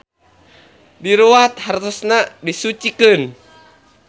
Diruwat hartosna disucikeun.